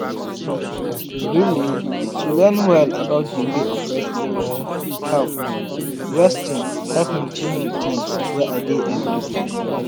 really to learn well about d way of resting help resting help me change d things wey i dey everyday.